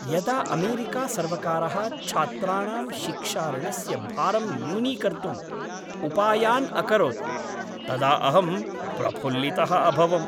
यदा अमेरिकासर्वकारः छात्राणां शिक्षाऋणस्य भारम् न्यूनीकर्तुम् उपायान् अकरोत् तदा अहं प्रफुल्लितः अभवम्।